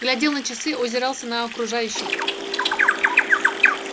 глядел на часы озирался на окружающих